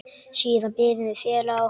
Siðan biðum við félaga okkar.